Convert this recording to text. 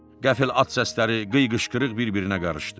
Qəfil at səsləri, qıyqışqırıq bir-birinə qarışdı.